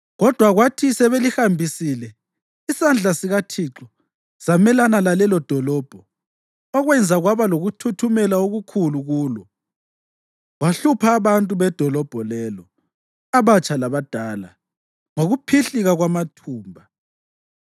Kodwa kwathi sebelihambisile, isandla sikaThixo samelana lalelodolobho, okwenza kwaba lokuthuthumela okukhulu kulo. Wahlupha abantu bedolobho lelo, abatsha labadala, ngokuphihlika kwamathumba.